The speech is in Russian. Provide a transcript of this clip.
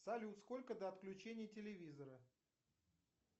салют сколько до отключения телевизора